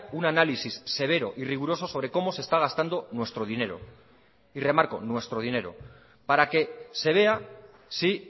un análisis severo y riguroso sobre cómo se está gastando nuestro dinero y remarco nuestro dinero para que se vea si